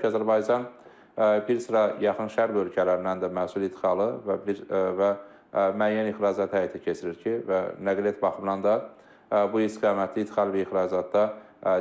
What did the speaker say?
Eyni zamanda təbii ki, Azərbaycan bir sıra yaxın şərq ölkələrindən də məhsul ixalı və müəyyən ixracat həyata keçirir ki, və nəqliyyat baxımından da bu istiqamətdə ixal və ixracatda